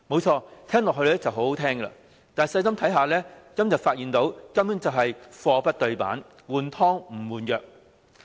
這很動聽，但細心一看，便會發現根本是貨不對辦，"換湯不換藥"。